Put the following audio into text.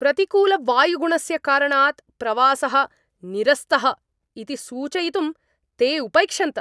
प्रतिकूलवायुगुणस्य कारणात् प्रवासः निरस्तः इति सूचयितुं ते उपैक्षन्त।